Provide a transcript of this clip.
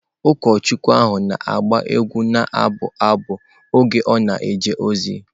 Ụkọchukwu ahụ na-agba egwu ma na-abụ abụ n’oge ọ na-eje ozi.